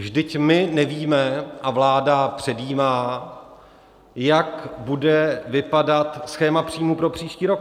Vždyť my nevíme - a vláda předjímá, jak bude vypadat schéma příjmů pro příští rok.